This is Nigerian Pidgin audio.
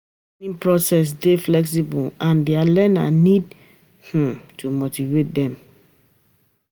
Di learning process dey flexible and di learner need to motivate imself